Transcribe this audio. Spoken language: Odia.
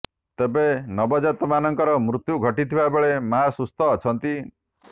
ତେବେ ନବଜାତକମାନଙ୍କର ମୃତ୍ୟୁ ଘଟିଥିବା ବେଳେ ମାଆ ସୁସ୍ଥ ଅଛନ୍ତି